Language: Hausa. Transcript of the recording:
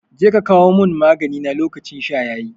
Jeka ka kawo mun magani na lokacin sha yayi